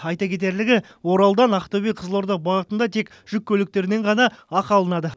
айта кетерлігі оралдан ақтөбе қызылорда бағытында тек жүк көліктерінен ғана ақы алынады